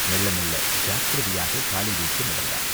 மெள்ள மெள்ள ஜாக்கிரதையாகக் காலை வைத்து நடந்தான்.